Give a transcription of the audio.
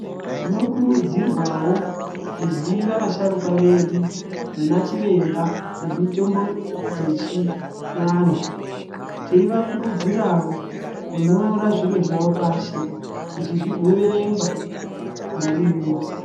Tinokurudzirwawo kuziva vasharukwa vedu vana chiremba vemitombo dzechivanhu teivakurudzirawo kunyora zviro zvavo pashi kuti zvigoverengwa narini wose.